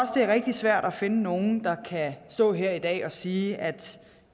er rigtig svært at finde nogen der kan stå her i dag og sige at